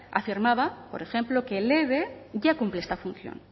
afirmaba por ejemplo que el eve ya cumple esta función